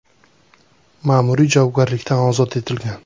ma’muriy javobgarlikdan ozod etilgan.